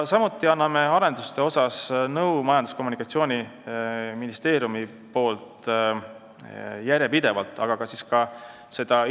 Samuti anname Majandus- ja Kommunikatsiooniministeeriumis järjepidevalt nõu arenduste kohta.